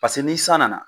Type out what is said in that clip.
Paseke ni san nana